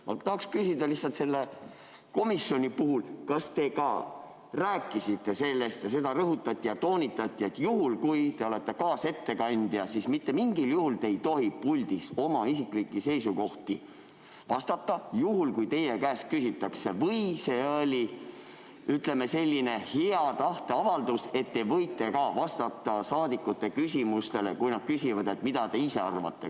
Ma tahan küsida lihtsalt selle komisjoni kohta, et kas te ka rääkisite sellest ja kas seda rõhutati ning toonitati, et juhul, kui te olete kaasettekandja, siis mitte mingil juhul te ei tohi puldis oma isiklikke seisukohti öelda, juhul kui teie käest küsitakse, või see oli hea tahte avaldus, et te võite vastata saadikute küsimustele, kui nad küsivad, mida te ise arvate.